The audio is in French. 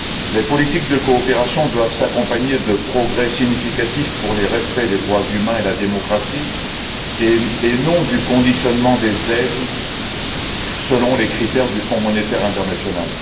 Les politiques de coopération doivent s'accompagner de progrès significatifs pour le respect des droits humains et la démocratie et non du conditionnement des aides selon les critères du Fonds monétaire international.